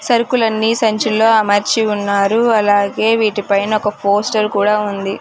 సరుకులన్నీ సంచుల్లో అమర్చి ఉన్నారు అలాగే వీటి పైన ఒక పోస్టర్ కూడా ఉంది.